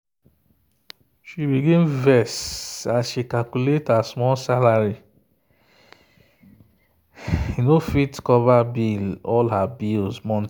she begin vex as she calculate her small salary no fit cover all her bills monthly.